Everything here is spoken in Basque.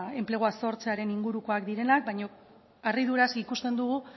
enplegua sortzearen ingurukoak direla baina harriduraz ikusten dugu